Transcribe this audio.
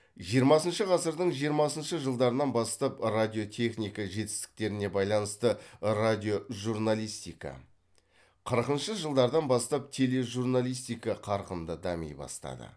жиырмасыншы ғасырдың жиырмасыншы жылдарынан бастап радиотехника жетістіктеріне байланысты радиожурналистика қырқыншы жылдарынан бастап тележурналистика қарқынды дами бастады